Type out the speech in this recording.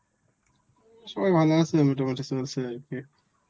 সবাই ভালো আছে আর কি.